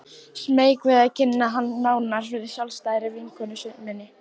Smeyk við að kynna hann nánar fyrir sjálfstæðri vinkonu minni.